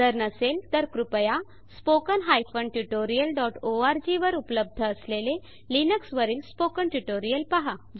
जर नसेल तर कृपया spoken tutorialओआरजी वर उपलब्ध असलेले लिनक्स वरील स्पोकन ट्यूटोरियल पहा